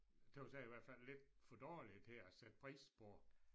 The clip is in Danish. Tøs jeg i hvert fald lidt for dårlige til at sætte pris på